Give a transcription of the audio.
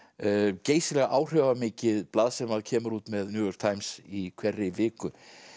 geysilega áhrifamikið blað sem kemur út með New York Times í hverri viku